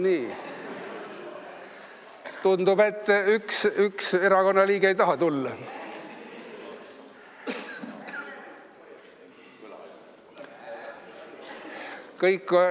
Nii, tundub, et üks erakonna liige ei taha tulla.